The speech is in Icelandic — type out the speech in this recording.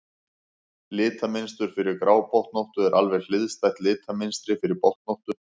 litamynstur fyrir grábotnóttu er alveg hliðstætt litamynstri fyrir botnóttu